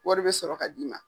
Wari bɛ sɔrɔ ka d'i ma.